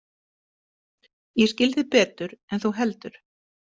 Ég skil þig betur en þú heldur.